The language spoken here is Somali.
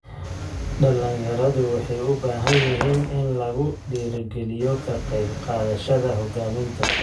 Dhalinyaradu waxay u baahan yihiin in lagu dhiirigaliyo ka qayb qaadashada hogaaminta.